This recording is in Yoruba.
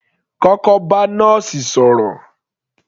Kọ́kọ́ bá nọ́ọ̀sì sọ̀rọ̀